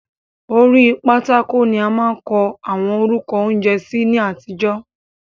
Orí pátákò ni a máa ń kọ àwọn orúkọ oúnjẹ sí ní àtijọ́.